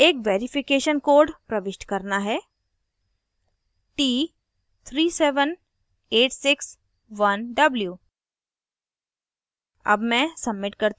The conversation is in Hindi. अब मुझे एक verification code प्रविष्ट करना है – t37861w